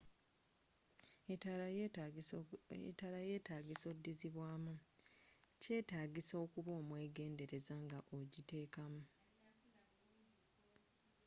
etaala yyetaga odizibwamu.kyetagisa okuba omwegendereza nga ogiteka mu